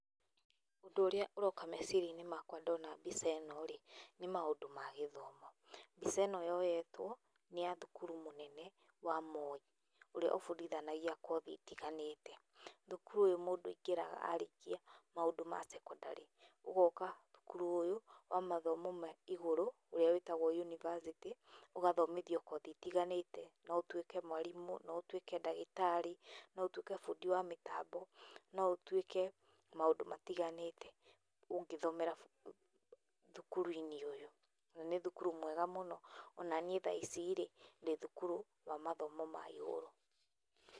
Ũndũ ũrĩa ũroka meciria-inĩ makwa ndona mbica ĩno-rĩ nĩ maũndũ ma gĩthomo. Mbica ĩno yoyetwo nĩ ya thukuru mũnene wa Moi, ũrĩa ũbundithanagia kothi itiganĩte. Thukuru ũyũ mũndũ aingĩraga arĩkia maũndũ ma secondary, ũgoka thukuru ũyũ wa mathomo ma igũrũ ũrĩa wĩtagwo university, ũgathomithio kothi itiganĩte no ũtuĩke mwarimũ, no ũtuĩke ndagĩtarĩ, no ũtuĩke bundi wa mĩtambo, no ũtuĩke maũndũ matiganĩte, ũngĩthomera thukuru-inĩ ũyũ. Nĩ thukuru mwega mũno, o na niĩ thaa ici-rĩ ndĩ thukuru wa matomo ma igũrũ.